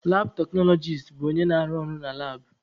Labụ teknọlọgis bụ onye na-arụ ọrụ na labụ.